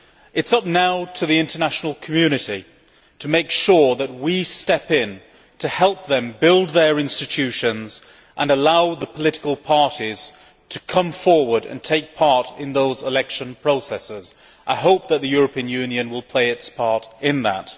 It is now for the international community to make sure that we step in to help them build their institutions and allow the political parties to come forward and take part in those election processes. I hope that the European Union will play its part in that.